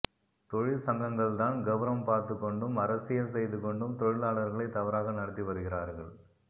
தொழிற்சங்கங்கள்தான் கௌரவம் பார்த்துக் கொண்டும் அரசியல் செய்து கொண்டும் தொழிலாளர்களை தவறாக நடத்தி வருகிறார்கள்